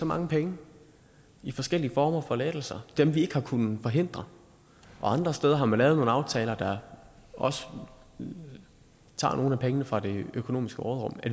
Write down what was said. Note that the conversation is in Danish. mange penge i forskellige former for lettelser dem vi ikke har kunnet forhindre og andre steder har man lavet nogle aftaler der også tager nogle penge fra det økonomiske råderum